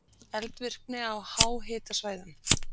Eldvirkni á háhitasvæðum